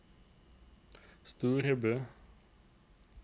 Storebø